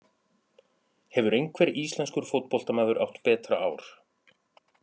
Hefur einhver íslenskur fótboltamaður átt betra ár?